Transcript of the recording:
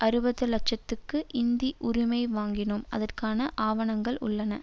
அறுபது லட்சத்துக்கு இந்தி உரிமை வாங்கினோம் அதற்கான ஆவணங்கள் உள்ளன